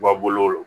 Wa bolo